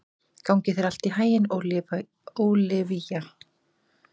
Gangi þér allt í haginn, Ólivía.